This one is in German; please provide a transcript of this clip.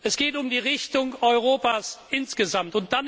Es geht um die Richtung Europas insgesamt.